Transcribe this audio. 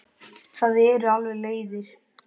Það eru alveg leiðir.